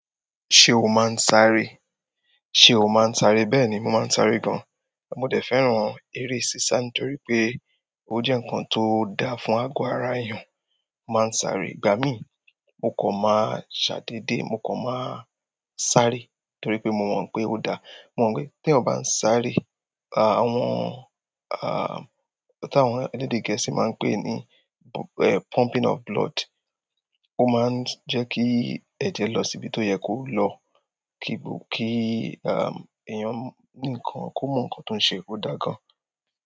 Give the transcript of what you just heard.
Ṣé o máa ń sáré? Ṣé o máa ń sáré? Bẹ́ẹ̀ni, mo máa ń sáré gan. Mo dẹ̀ fẹ́ràn eré sisa nítorí pé ó jẹ́ nǹkan tó dáa fún àgọ́ ara èèyàn. Mo máa ń sáré, ìgbà mi, mo kò máa ṣàdéédé, mo kò máa sáré torí pé mo mọ̀ pé ó dáa. Mo mọ̀ pé tí èèyàn bá ń sáré, àwọn ah, táwọn ẹlẹ́dẹ̀ gẹ̀ẹ́sì máa ń pè ní eh pumping of blood, ó máa ń jẹ́ kí ẹ̀jẹ̀ lọ síbi tó yẹ kó lọ. Kí gbo èèyàn ko mọ ǹkan tí ó ń se, ó dáa gan.